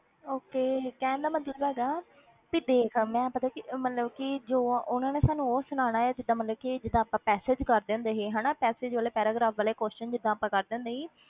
Okay ਕਹਿਣ ਦਾ ਮਤਲਬ ਹੈਗਾ ਤੇ ਦੇਖ ਮੈਂ ਪਤਾ ਕੀ ਅਹ ਮਤਲਬ ਕਿ ਜੋ ਉਹਨਾਂ ਨੇ ਸਾਨੂੰ ਉਹ ਸੁਣਾਉਣਾ ਹੈ ਜਿੱਦਾਂ ਮਤਲਬ ਕਿ ਜਿੱਦਾਂ ਆਪਾਂ passage ਕਰਦੇ ਹੁੰਦੇ ਸੀ ਹਨਾ passage ਵਾਲੇ paragraph ਵਾਲੇ question ਜਿੱਦਾਂ ਆਪਾਂ ਕਰਦੇ ਹੁੰਦੇ ਸੀ,